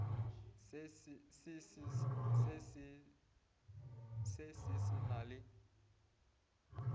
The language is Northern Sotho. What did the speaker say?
se se se na le